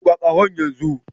Buga ƙahon yanzu!